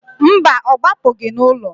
Mba, ọ gbapụgị n'ụlọ.